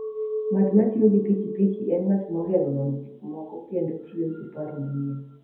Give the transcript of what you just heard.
Ng'at ma tiyo gi pikipiki en ng'at mohero nono gik moko kendo tiyo gi paro manyien.